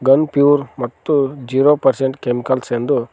gun pure ಮತ್ತು zero percent chemicals ಎಂದು--